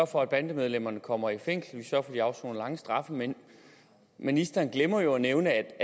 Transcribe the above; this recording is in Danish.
for at bandemedlemmerne kommer i fængsel og at de afsoner lange straffe men ministeren glemmer jo at nævne